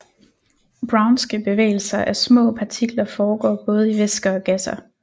Brownske bevægelser af små partikler foregår både i væsker og gasser